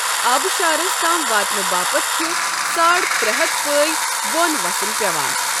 آبشارَس تام واتنہٕ باپتھ چھُ ساڑ ترہتھ پٲے بۄن وَسُن پٮ۪وان۔